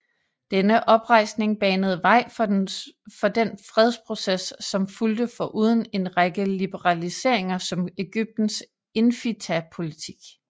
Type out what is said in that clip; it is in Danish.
Denne oprejsning banede vej for den fredsproces som fulgte foruden en række liberaliseringer som Egyptens infitah politik